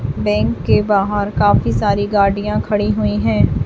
Bank के बाहर काफ़ी सारी गाड़ियां खड़ी हुई है।